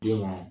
Den ma